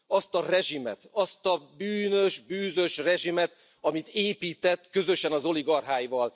Azt a rezsimet, azt a bűnös, bűzös rezsimet, amit épített közösen az oligarcháival.